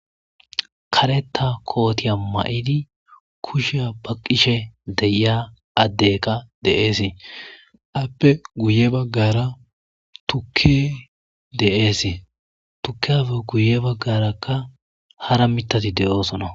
Kaleta kootiya ma'idi kusheya baqqishe deyia addekka deeesee appe guye baggara tukke deeese tukke afe guye baggarakka hara mitati de'oosona